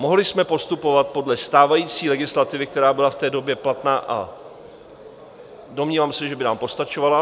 Mohli jsme postupovat podle stávající legislativy, která byla v té době platná, a domnívám se, že by nám postačovala.